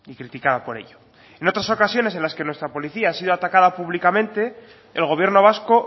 criticada por ello en otras ocasiones en las que nuestra policía ha sido atacada públicamente el gobierno vasco